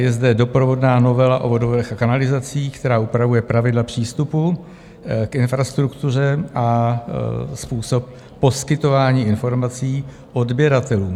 Je zde doprovodná novela o vodovodech a kanalizacích, která upravuje pravidla přístupu k infrastruktuře a způsob poskytování informací odběratelům.